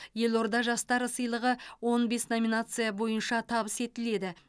елорда жастары сыйлығы он бес номинация бойынша табыс етіледі